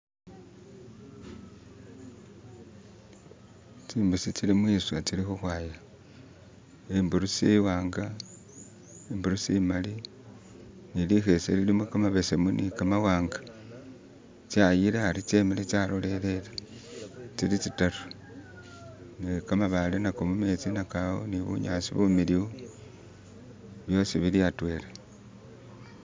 Tsimbusi tsili mwiswa tsili khukhwaya, imburisi iwanga, imburusi imaali ne likhese lilimo kamabesemu ne kamawanga tsayile ari tsemile tsa lolelele, tsili tsitaru ne kamabale nako mumetsi nako awo ni bunyasi bumiliyu byosi bili atwela.